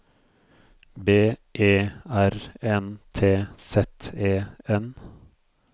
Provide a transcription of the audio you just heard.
B E R N T Z E N